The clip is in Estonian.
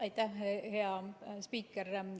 Aitäh hea spiiker!